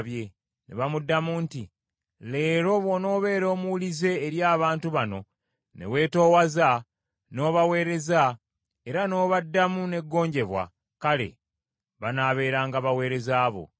Ne bamuddamu nti, “Leero bw’onoobeera omuwulize eri abantu bano ne weetoowaza, n’obaweereza, era n’obaddamu n’eggonjebwa, kale banaabeeranga baweereza bo.”